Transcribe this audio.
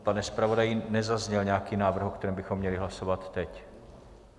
Pane zpravodaji, nezazněl nějaký návrh, o kterém bychom měli hlasovat teď?